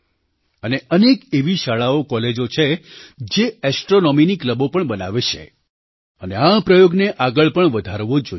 અને અનેક એવી શાળાઓકૉલેજોછે જે ઍસ્ટ્રૉનૉમીની ક્લબો પણ બનાવે છે અને આ પ્રયોગને આગળ પણ વધારવો જોઈએ